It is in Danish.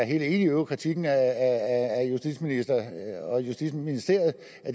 hele eu kritikken af at justitsministeren og justitsministeriet